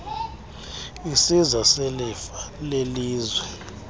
isiza selifa lelizwe